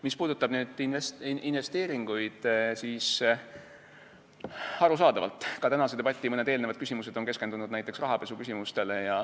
Mis puudutab investeeringuid, siis arusaadavalt ka tänase debati mõned eelnevad küsimused on keskendunud näiteks rahapesuküsimustele.